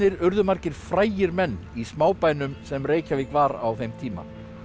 urðu margir frægir menn í smábænum sem Reykjavík var á þeim tíma